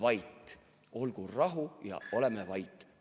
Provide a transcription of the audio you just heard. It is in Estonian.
/ Olgu rahu, / ja oleme vait.